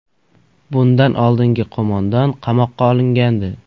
Bundan oldingi qo‘mondon qamoqqa olingandi.